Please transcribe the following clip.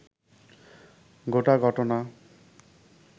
গোটা ঘটনা